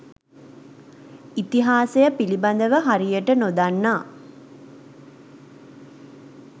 ඉතිහාසය පිළිබඳව හරියට නොදන්නා